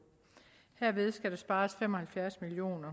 herved skal der spares fem og halvfjerds million